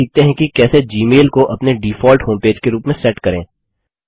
चलिए सीखते हैं कि कैसे जीमेल को अपने डिफॉल्ट होमपेज के रूप में सेट करें